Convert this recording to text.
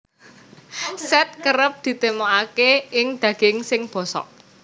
Sèt kerep ditemokake ing daging sing bosok